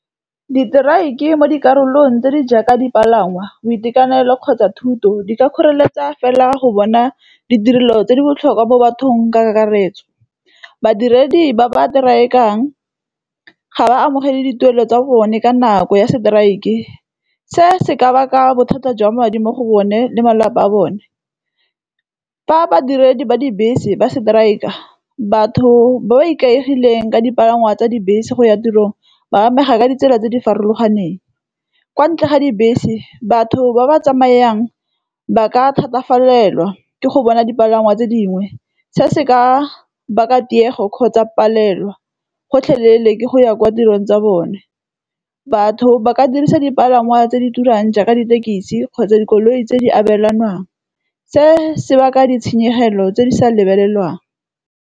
Diteraeke mo dikarolong tse di jaaka dipalangwa, boitekanelo kgotsa thuto. Di ka kgoreletsa fela go bona ditirelo tse di botlhokwa mo bathong ka kakaretso. Badiredi ba ba teraekang, ga ba amogele dituelo tsa bone ka nako ya seteraeke. Se se ka baka bothata jwa madi mo go bone le malapa a bone. Fa badiredi ba dibese ba seteraeka, batho ba ba ikaegileng ka dipalangwa tsa dibese go ya tirong, ba amega ka ditsela tse di farologaneng. Kwa ntle ga dibese batho ba ba tsamayang ba ka thatafalelwa ke go bona dipalangwa tse dingwe, se se ka baka tiego kgotsa palelwa, gotlhelele go ya kwa tirong tsa bone. Batho ba ka dirisa dipalangwa tse di turang jaaka ditekisi kgotsa dikoloi tse di abelanwang, se se baka ditshenyegelo tse di sa lebelelwang.